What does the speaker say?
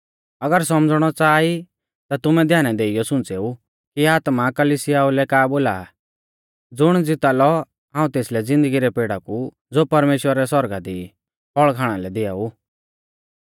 अगर सौमझ़णौ च़ाहा ई ता तुमै ध्याना देइयौ सुंच़ेऊ कि आत्मा कलिसियाऊ लै का बोला आ ज़ुण ज़िता लौ हाऊं तेसलै तेस ज़िन्दगी रै पेड़ा कु ज़ो परमेश्‍वरा रै सौरगा दी ई फल़ खाणा लै दिआऊ